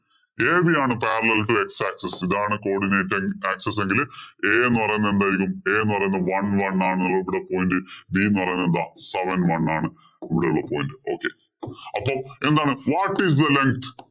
AB ആണ്. parallel ഇലെ x axis ഇതാണ് codinate axis എങ്കില് a എന്ന് പറയുന്നത് എന്തായിരിക്കും a എന്ന് പറയുന്നത്. one one ആണ് ഇവിടെ pointB എന്ന് പറയുന്നത് എന്താ seven one ആണ് കൂടെയുള്ള point okay അപ്പൊ എന്താണ് What is the length